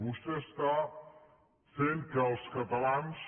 vostè està fent que els catalans